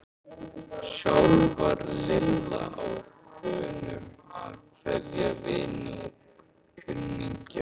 Sjálf var Lilla á þönum að kveðja vini og kunningja.